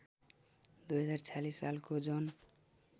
२०४६ सालको जन